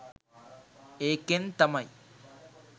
ඒකෙන් තමයි